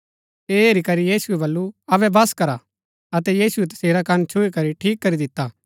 ऐह हैरी करी यीशुऐ बल्लू अबै बस करा अतै यीशुऐ तसेरा कन छुई करी ठीक करी दिता